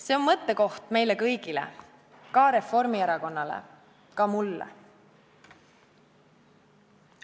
See on mõttekoht meile kõigile, ka Reformierakonnale, ka mulle.